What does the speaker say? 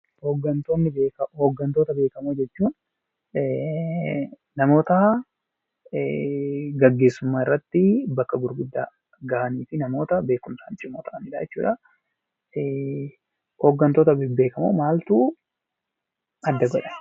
Hoggantoota beekamoo jechuun namoota gaggeessummaa irratti bakka gurguddaa gahanii fi namoota beekumsaan cimoo ta'anidha jechuudha. Hoggantoota bebbeekamoo maaltu adda godha?